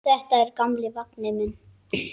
Þetta er gamli vagninn minn.